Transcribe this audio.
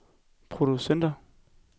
produceret